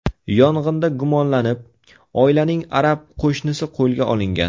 Yong‘inda gumonlanib, oilaning arab qo‘shnisi qo‘lga olingan.